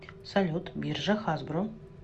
салют биржа хасбро